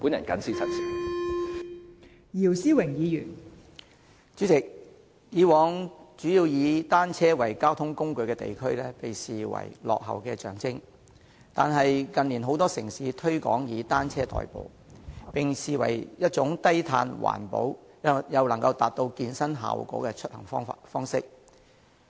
代理主席，以往以單車作為主要交通工具的地區，被視為落後的象徵，但近年很多城市推廣以單車代步，並視為一種低碳、環保，又能達到健身效果的出行方式。